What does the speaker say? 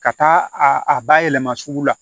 Ka taa a a bayɛlɛma sugu la